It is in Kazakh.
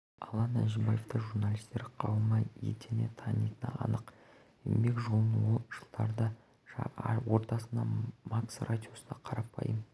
алан әжібаевты журналистер қауымы етене танитыны анық еңбек жолын ол жылдардың ортасында макс радиосында қарапайым